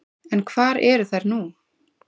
En hvar eru þær nú?